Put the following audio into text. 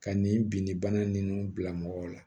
Ka nin binnibana ninnu bila mɔgɔw la